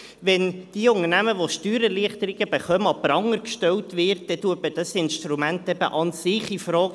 Wenn die Unternehmen, die Steuererleichterung bekommen, an den Pranger gestellt werden, dann stellt man dieses Instrument eben an sich in Frage.